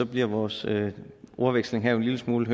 bliver vores ordveksling her jo en lille smule